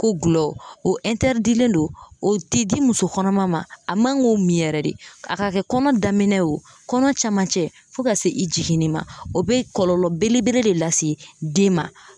Ko gulɔ o len no o tɛ di muso kɔnɔma ma a man k'o min yɛrɛ de a ka kɛ kɔnɔ daminɛ ye o kɔnɔ cɛmancɛ fo ka se i jiginni ma o be kɔlɔlɔ belebele de lase den ma.